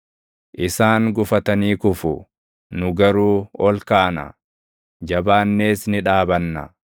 Isaan gufatanii kufu; nu garuu ol kaana; jabaannees ni dhaabanna.